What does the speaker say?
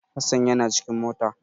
Hasan yana cikin mota.